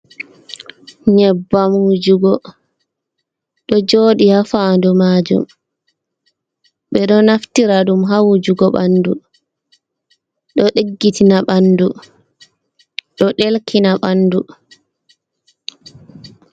Nyebbam wujugo ɗo joɗi ha fandu majum, ɓe ɗo naftira ɗum ha wujugo ɓanɗu ɗo diggitina ɓanɗu, ɗo ɗelkina ɓanɗu.